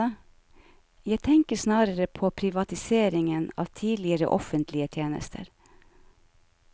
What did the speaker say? Jeg tenker snarere på privatiseringen av tidligere offentlige tjenester.